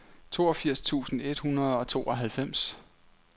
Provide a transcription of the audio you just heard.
toogfirs tusind et hundrede og tooghalvfems